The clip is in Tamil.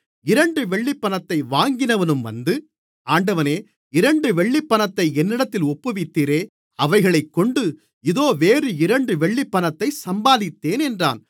இரண்டு வெள்ளிப்பணத்தை வாங்கினவனும் வந்து ஆண்டவனே இரண்டு வெள்ளிப்பணத்தை என்னிடத்தில் ஒப்புவித்தீரே அவைகளைக்கொண்டு இதோ வேறு இரண்டு வெள்ளிப்பணத்தைச் சம்பாதித்தேன் என்றான்